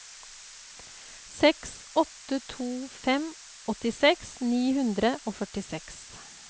seks åtte to fem åttiseks ni hundre og førtiseks